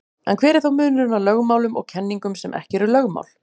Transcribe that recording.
En hver er þá munurinn á lögmálum og kenningum sem ekki eru lögmál?